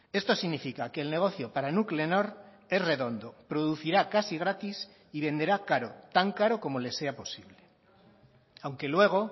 esto significa que el negocio para nuclenor es redondo producirá casi gratis y venderá caro tan caro como le sea posible aunque luego